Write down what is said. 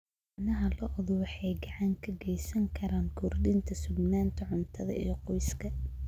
Caanaha lo'du waxay gacan ka geysan karaan kordhinta sugnaanta cuntada ee qoyska.